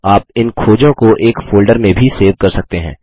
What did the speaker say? आप इन खोजों को एक फोल्डर में भी सेव कर सकते हैं